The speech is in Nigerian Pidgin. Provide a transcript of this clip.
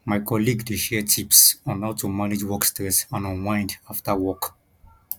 my colleague dey share tips on how to manage work stress and unwind after work